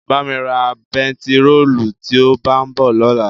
Bá mi ra bẹntiróòlù tí ó bá ń bọ̀ lọ́la.